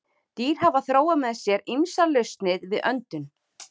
Dýr hafa þróað með sér ýmsar lausnir við öndun.